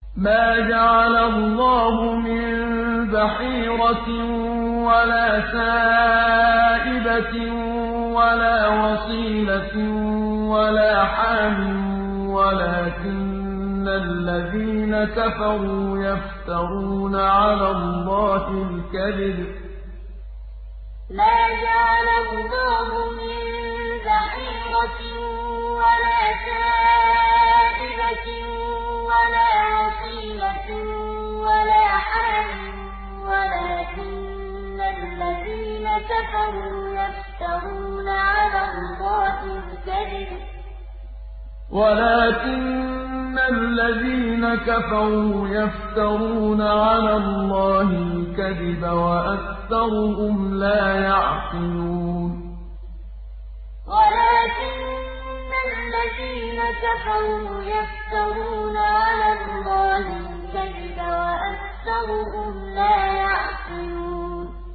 مَا جَعَلَ اللَّهُ مِن بَحِيرَةٍ وَلَا سَائِبَةٍ وَلَا وَصِيلَةٍ وَلَا حَامٍ ۙ وَلَٰكِنَّ الَّذِينَ كَفَرُوا يَفْتَرُونَ عَلَى اللَّهِ الْكَذِبَ ۖ وَأَكْثَرُهُمْ لَا يَعْقِلُونَ مَا جَعَلَ اللَّهُ مِن بَحِيرَةٍ وَلَا سَائِبَةٍ وَلَا وَصِيلَةٍ وَلَا حَامٍ ۙ وَلَٰكِنَّ الَّذِينَ كَفَرُوا يَفْتَرُونَ عَلَى اللَّهِ الْكَذِبَ ۖ وَأَكْثَرُهُمْ لَا يَعْقِلُونَ